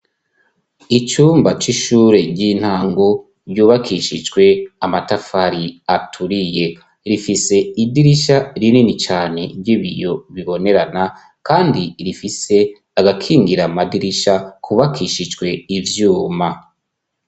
Icumba c'ishure ry'intangu ryubakishijwe amatafari aturiye rifise idirisha rinini cane ry'ibiyo bibonerana, kandi rifise agakingira amadirisha kubakishijwe ivyuma.